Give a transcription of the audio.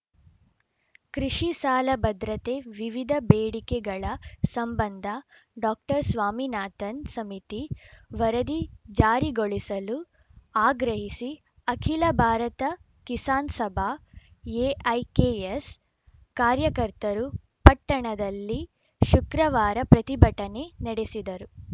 ಕೃಷಿ ಸಾಲ ಭದ್ರತೆ ವಿವಿಧ ಬೇಡಿಕೆಗಳ ಸಂಬಂಧ ಡಾಕ್ಟರ್ ಸ್ವಾಮಿನಾಥನ್‌ ಸಮಿತಿ ವರದಿ ಜಾರಿಗೊಳಿಸಲು ಆಗ್ರಹಿಸಿ ಅಖಿಲ ಭಾರತ ಕಿಸಾನ್‌ ಸಭಾ ಎಐಕೆಎಸ್‌ ಕಾರ್ಯಕರ್ತರು ಪಟ್ಟಣದಲ್ಲಿ ಶುಕ್ರವಾರ ಪ್ರತಿಭಟನೆ ನಡೆಸಿದರು